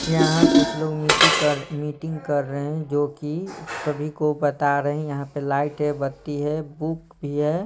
यहाँ कुछ लोग मिटी कर मीटिंग कर रहे हैं जो कि सभी को बता रहे हैं यहाँ पे लाइट है बत्ती है बुक भी है।